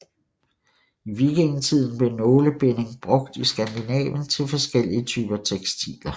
I vikingetiden blev nålebinding brugt i Skandinavien til forskellige typer tekstiler